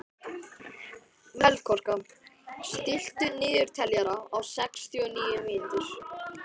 Melkorka, stilltu niðurteljara á sextíu og níu mínútur.